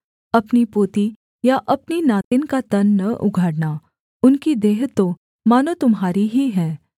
अपनी पोती या अपनी नातिन का तन न उघाड़ना उनकी देह तो मानो तुम्हारी ही है